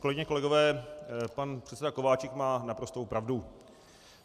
Kolegyně, kolegové, pan předseda Kováčik má naprostou pravdu.